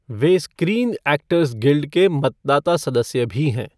वह Screen Actors Guild के मतदाता सदस्य भी हैं।